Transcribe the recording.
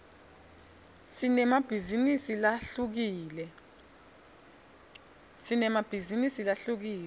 sinemabhizinisi lahlukile